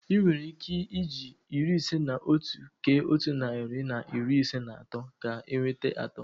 Ị nwere ike eji iri ise na otu kee otu narị na iri ise na atọ ka enweta atọ.